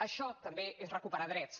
això també és recuperar drets